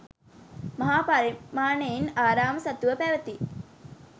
මහා පරිමාණයෙන් ආරාම සතුව පැවති